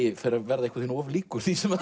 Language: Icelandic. verða of líkur því sem